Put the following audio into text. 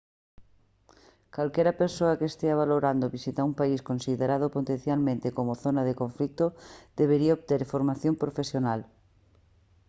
calquera persoa que estea valorando visitar un país considerado potencialmente como zona de conflito debería obter formación profesional